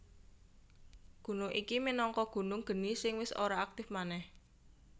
Gunung iki minangka gunung geni sing wis ora aktif manèh